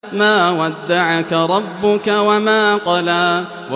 مَا وَدَّعَكَ رَبُّكَ وَمَا قَلَىٰ